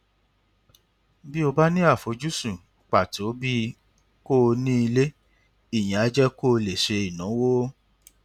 bí o bá ní àfojúsùn pàtó bíi kó o ní ilé ìyẹn á jẹ kó o lè ṣe ìnáwó